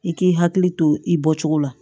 I k'i hakili to i bɔcogo la